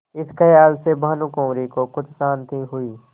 इस खयाल से भानुकुँवरि को कुछ शान्ति हुई